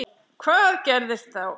Hvað gerðist þá?